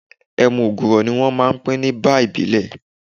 Ẹmu ògùrò ni wọ́n máa pin ní báà ìbílẹ̀.